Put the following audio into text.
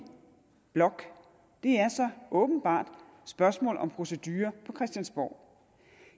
blok er så åbenbart spørgsmålet om procedurerne på christiansborg